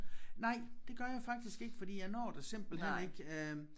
Nej det gør jeg faktisk ikke fordi jeg når det simpelthen ikke øh